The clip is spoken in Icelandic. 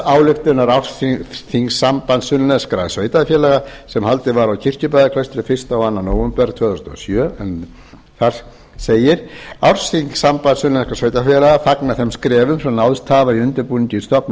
ályktunar ársþings sambands sunnlenskra sveitarfélaga sem haldið var á kirkjubæjarklaustri fyrstu og annan nóvember tvö þúsund og sjö en þar segir ársþing sass tvö þúsund og sjö fagnar þeim skrefum sem náðst hafa